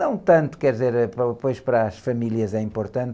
Não tanto, quer dizer, eh, pois para as famílias é importante,